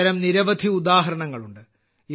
ഇത്തരം നിരവധി ഉദാഹരണങ്ങളുണ്ട്